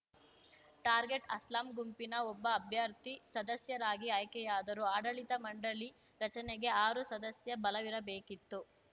target Aslam ಗುಂಪಿನ ಒಬ್ಬ ಅಭ್ಯರ್ಥಿ ಸದಸ್ಯರಾಗಿ ಆಯ್ಕೆಯಾದರು ಆಡಳಿತ ಮಂಡಳಿ ರಚನೆಗೆ ಆರು ಸದಸ್ಯ ಬಲವಿರಬೇಕಿತ್ತು